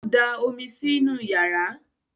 ọ dà omí sí nù iyàrá